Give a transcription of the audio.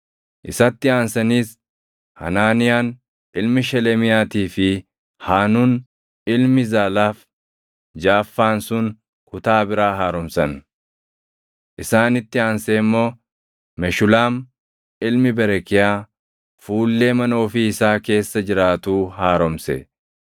Isatti aansaniis Hanaaniyaan ilmi Shelemiyaatii fi Haanuun ilmi Zaalaaf jaʼaffaan sun kutaa biraa haaromsan. Isaanitti aansee immoo Meshulaam ilmi Berekiyaa fuullee mana ofii isaa keessa jiraatuu haaromse.